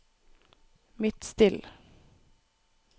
Midtstill